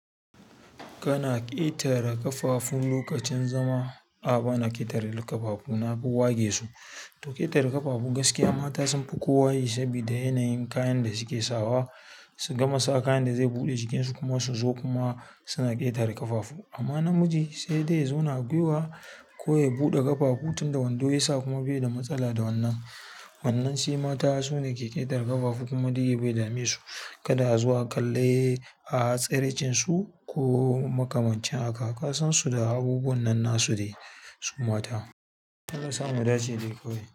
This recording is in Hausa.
Kana ƙetare ƙafafu lokacin zama. A'a bana ƙetare ƙafafu, na fi wage su. To ƙetare ƙafafu gaskiya mata sun fi kowa yi sabida yanayin kayan da suke sawa su gama sa kayan da zai buɗe jikinsu kuma su zo kuma suna ƙetare ƙafafu. Amma namiji sai dai zauna a gwiwa ko ya buɗe ƙafafu tunda wando ya sa kuma bai da matsala da wannan. Wannan shi mata su ne ke ƙetare ƙafafu kuma dai bai dame su kada a zo a kalle a tsiraicin su ko makamancin haka. Ka san su da abubuwan nan nasu ne, su mata. Allah sa mu dace dai kawai.